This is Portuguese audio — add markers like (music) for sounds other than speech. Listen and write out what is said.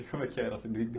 E como é que era? (unintelligible)